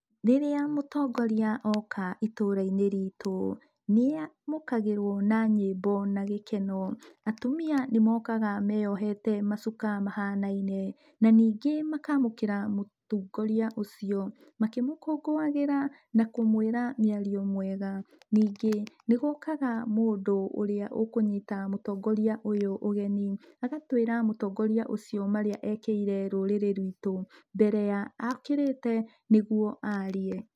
Rĩrĩa mũtongoria oka itũra-inĩ ritũ, nĩamũkagĩrwo na nyĩmbo na gĩkeno, atumia nĩmokaga meyohete macuka mahanaine, na ningĩ makamũkĩra mũtongoria ũcio, makĩmũkũngũagĩra na kũmwĩra mĩario mĩega. Ningĩ, nĩgũkaga mũndũ ũrĩa ũkũnyita mũtongoria ũyũ ũgeni, agatwĩra mũtongoria ũcio marĩa ekĩire rũrĩrĩ ruitũ mbere ya okĩrĩte nĩguo aarie.